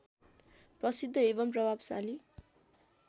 प्रसिद्ध एवं प्रभावशाली